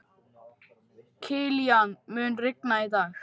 Kilían, mun rigna í dag?